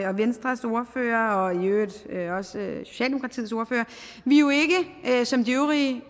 og venstres ordfører og i øvrigt også socialdemokratiets ordfører vi er jo som de øvrige